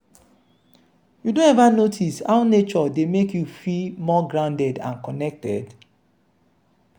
you don ever notice how nature dey make you feel more grounded and connected?